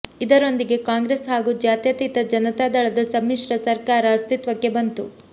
ಇದರೊಂದಿಗೆ ಕಾಂಗ್ರೆಸ್ ಹಾಗೂ ಜಾತ್ಯತೀತ ಜನತಾದಳದ ಸಮ್ಮಿಶ್ರ ಸರ್ಕಾರ ಅಸ್ತಿತ್ವಕ್ಕೆ ಬಂತು